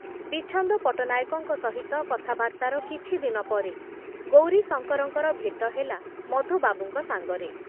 ବିଚ୍ଛନ୍ଦ ପଟ୍ଟନାୟକଙ୍କ ସହିତ କଥାବାର୍ତ୍ତାର କିଛି ଦିନ ପରେ ଗୌରୀଶଙ୍କରଙ୍କର ଭେଟ ହେଲା ମଧୁବାବୁଙ୍କ ସାଙ୍ଗରେ ।